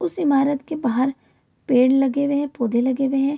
उस इमारत के बाहर पेड़ लगे हुए हैं पौधे लगे हुए हैं |